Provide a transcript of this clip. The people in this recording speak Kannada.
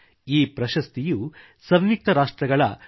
ಈ ಪ್ರಶಸ್ತಿಯು ಸಂಯುಕ್ತ ರಾಷ್ಟ್ರಗಳ f